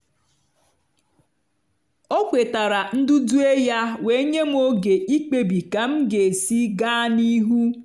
o kwetara ndudue ya wee nye m oge ikpebi ka m ga-esi gaa n'ihu.